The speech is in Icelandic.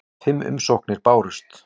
Fimm umsóknir bárust.